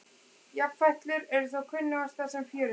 Jafnfætlur eru þó kunnugastar sem fjörudýr.